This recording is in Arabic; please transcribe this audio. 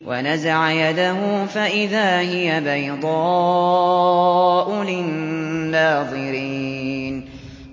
وَنَزَعَ يَدَهُ فَإِذَا هِيَ بَيْضَاءُ لِلنَّاظِرِينَ